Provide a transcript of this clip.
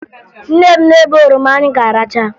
Nne m na-ebe oroma anyị ga-aracha